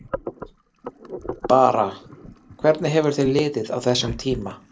Bara, hvernig hefur þér liðið á þessum tíma?